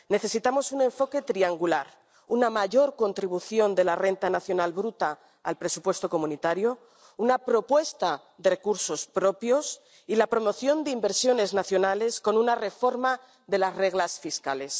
Necesitamos un enfoque triangular, una mayor contribución de la renta nacional bruta al presupuesto comunitario, una propuesta de recursos propios y la promoción de inversiones nacionales con una reforma de las reglas fiscales.